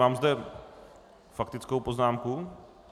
Mám zde faktickou poznámku.